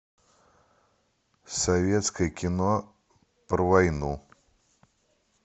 советское кино про войну